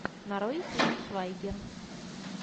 нарой тиль швайгер